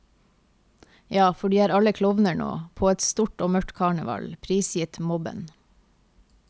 Ja, for de er alle klovner nå, på et stort og mørkt karneval, prisgitt mobben.